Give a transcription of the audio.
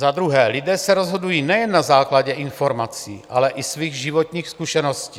Za druhé, lidé se rozhodují nejen na základě informací, ale i svých životních zkušeností.